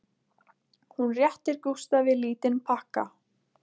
Hún réttir Gústafi lítinn pakka